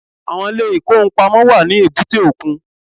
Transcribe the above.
Àwọn ilé ìkóhun-ìpamọ́ wà ní èbúté òkun